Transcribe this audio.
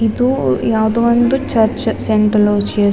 ಇದು ಯಾವುದೊ ಒಂದು ಚರ್ಚ್ ಸೆಂಟ್ ಅಲೋಸಿಯಸ್ --